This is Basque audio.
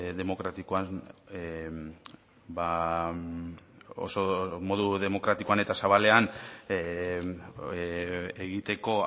oso demokratikoan eta zabalean egiteko